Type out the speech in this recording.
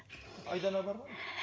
айдана бар ғой